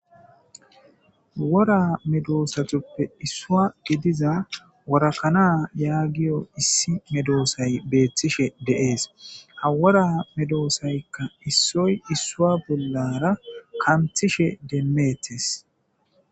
Wora medosatappe issuwa giidida wora kana yaagiyo issi meedossay bettishe de'es ha wora medosaykka issoy isso bollara kanththishe demmettes.